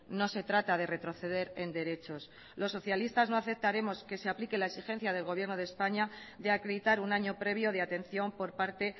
no se trata de retroceder en derechos los socialistas no aceptaremos que se aplique la exigencia del gobierno de españa de acreditar un año previo de atención por parte